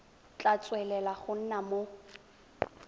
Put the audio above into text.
tla tswelela go nna mo